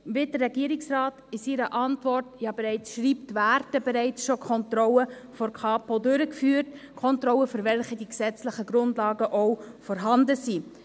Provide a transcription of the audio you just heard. Wie der Regierungsrat in seiner Antwort schreibt, werden ja bereits Kontrollen von der Kapo Bern durchgeführt – Kontrollen, für welche die gesetzlichen Grundlagen auch vorhanden sind.